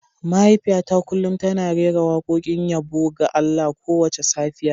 Mahaifiyata kullum tana rera wakokin yabo ga Allah kowace safiya.